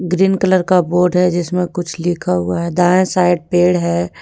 Green colour का board है जिसमें कुछ लिखा हुआ है। दाएं साइड पेड़ है।